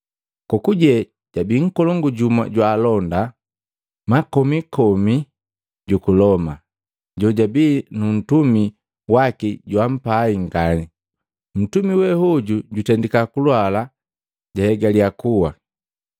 Kokuje jabi nkolongu jumu jwa alonda makomi komi juku Loma, jojabi nu ntumi waki joampai ngani. Ntumi we hoju jutendika kulwala jahegalya kuwa. Nndonda jwa Aloma|alt="A Roman centurion" src="08 Centurion.jpg" size="col" ref="7:2"